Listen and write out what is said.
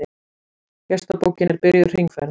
Gestabókin er byrjuð hringferð.